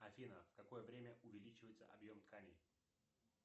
афина в какое время увеличивается объем тканей